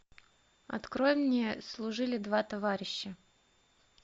открой мне служили два товарища